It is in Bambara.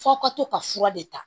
F'aw ka to ka fura de ta